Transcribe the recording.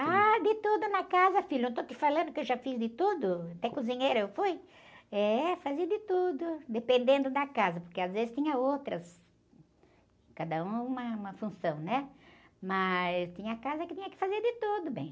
Ah, de tudo na casa, filho, não estou te falando que eu já fiz de tudo, até cozinheira eu fui, é, fazia de tudo, dependendo da casa, porque às vezes tinha outras, cada uma, uma função, né, mas tinha casa que tinha que fazer de tudo bem.